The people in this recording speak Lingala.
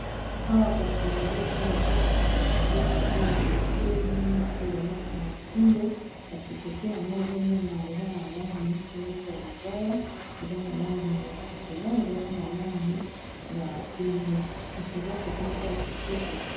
Awa kasi ezali esika ba tekisaka biloko oyo ya matoi na oyo ba lataka na kingo kasi kote yango ozo mona eza na langi moko neti ya libaya eza na langi ya shokola eza pe na langi ya pembe kasi eza kote moko ya kitoko.